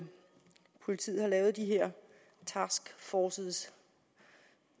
politiet har lavet de her taskforces